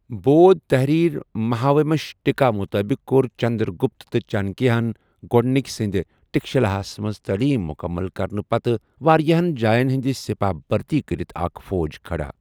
بودھ تحریر مِہاومش ٹِکا مُطٲبِق كور چندر گٗپت تہٕ چانكِیہ ہن ،گوڈنِكہِ سٕندِ تكشِلا ہس منز تالیم مٗكمل كرنہٕ پتہٕ وارِیاہن جاین ہندِ سپاہ بھرتی كرِتھ اكھ فوج كھڈا ۔